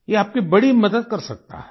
ये आपकी बड़ी मदद कर सकता है